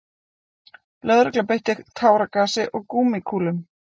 Lögregla beitti táragasi og gúmmíkúlum